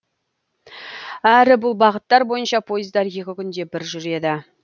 әрі бұл бағыттар бойынша пойыздар екі күнде бір жүреді